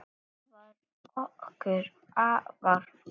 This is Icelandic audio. Hann var okkur afar kær.